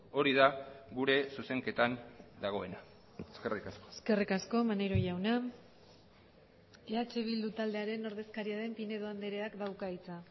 hori da gure zuzenketan dagoena eskerrik asko eskerrik asko maneiro jauna eh bildu taldearen ordezkaria den pinedo andreak dauka hitza